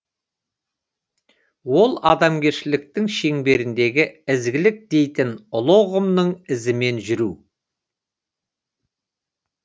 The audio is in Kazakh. ол адамгершіліктің шеңберіндегі ізгілік дейтін ұлы ұғымның ізімен жүру